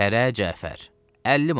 Fərə Cəfər 50 manat.